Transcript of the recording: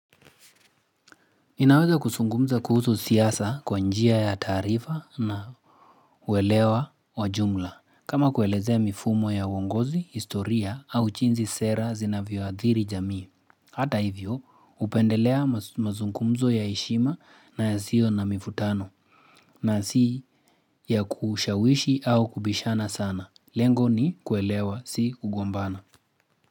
Inaweza kuzungumza kuhusu siasa kwa njia ya taarifa na uelewa wajumla. Kama kuelezea mifumo ya uongozi, historia au jinsi sera zinavyoadhiri jamii. Hata hivyo upendelea mazungumzo ya heshima na ya yasio na mivutano na si ya kushawishi au kubishana sana. Lengo ni kuelewa si kugombana.